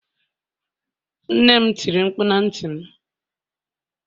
nnem tiri mkpu na ntim